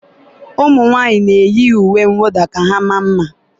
ụmụnwaanyị na-eyi uwe mwụda ka ha maa mma